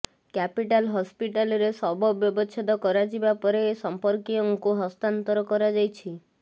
capital ହସ୍ପିଟାଲରେ ଶବ ବ୍ୟବଚ୍ଛେଦ କରାଯିବା ପରେ ସମ୍ପର୍କୀୟଙ୍କୁ ହସ୍ତାନ୍ତର କରାଯାଇଛି